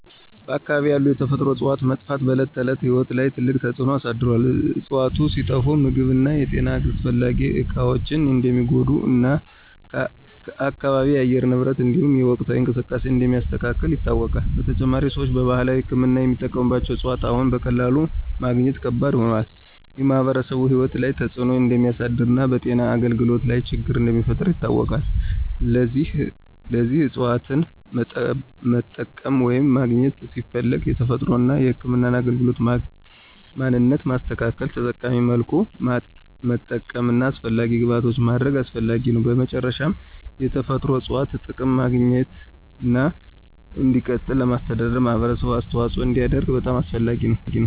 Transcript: በአካባቢው ያሉ የተፈጥሮ እፅዋት መጥፋት በዕለት ተዕለት ሕይወት ላይ ትልቅ ተጽዕኖ አሳድሮአል። እፅዋቱ ሲጠፋ ምግብ እና የጤና አስፈላጊ እቃዎች እንደሚጎዱ እና አካባቢው የአየር ንብረትን እንዲሁም የወቅታዊ እንቅስቃሴዎችን እንደሚያስተካክል ይታወቃል። በተጨማሪም፣ ሰዎች በባህላዊ ሕክምና የሚጠቀሙት እፅዋት አሁን በቀላሉ ማግኘት ከባድ ሆኗል። ይህ በማኅበረሰቡ ሕይወት ላይ ተጽዕኖ እንደሚያሳድር እና በጤና አገልግሎት ላይ ችግር እንደሚፈጥር ይታወቃል። ለዚህ እፅዋትን መጠቀም ወይም ማግኘት ሲፈለግ የተፈጥሮን እና ህክምናን አካባቢ ማንነት ማስተካከል፣ ተጠቃሚ መልኩ ማጠቀም እና አስፈላጊ ግብዓቶችን ማድረግ አስፈላጊ ነው። በመጨረሻ፣ የተፈጥሮ እፅዋት ጥቅም ማግኘትና እንዲቀጥል ለማስተዳደር ማህበረሰቡ አስተዋጽኦ እንዲያደርግ በጣም አስፈላጊ ነው።